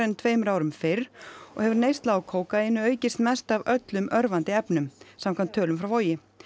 en tveimur árum fyrr og hefur neysla á kókaíni aukist mest af öllum örvandi efnum samkvæmt tölum frá Vogi